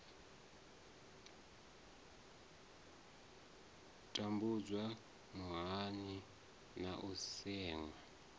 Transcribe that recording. tambudzwa muyani na u seṅwa